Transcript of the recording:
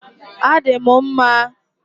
Adị m mma